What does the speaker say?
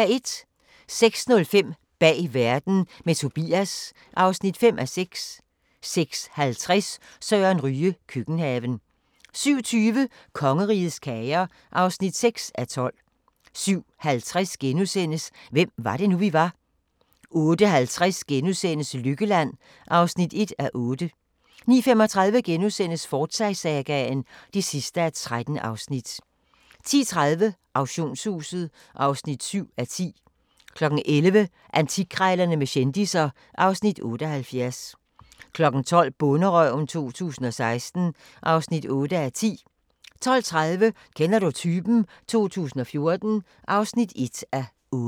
06:05: Bag verden – med Tobias (5:6) 06:50: Søren Ryge – køkkenhaven 07:20: Kongerigets kager (6:12) 07:50: Hvem var det nu, vi var? * 08:50: Lykkeland (1:8)* 09:35: Forsyte-sagaen (13:13)* 10:30: Auktionshuset (7:10) 11:00: Antikkrejlerne med kendisser (Afs. 78) 12:00: Bonderøven 2016 (8:10) 12:30: Kender du typen? 2014 (1:8)